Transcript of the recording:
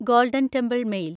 golden Temple mail